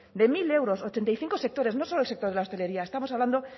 de mil euros ochenta y cinco sectores no solo el sector de la hostelería estamos hablando